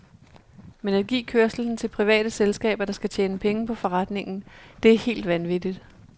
Men at give kørslen til private selskaber, der skal tjene penge på forretningen, det er helt vanvittigt.